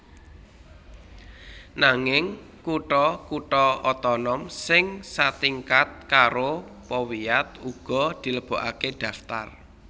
Nanging kutha kutha otonom sing satingkat karo powiat uga dilebokaké daftar